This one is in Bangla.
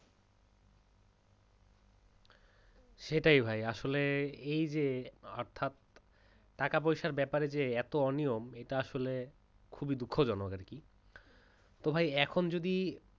সেটাই ভাই আসলে এই যে অর্থাৎ টাকা পয়সার ব্যাপারে যে এত অনিয়ম আসলে খুবই দুঃখজনক আর কি তো ভাই এখন যদি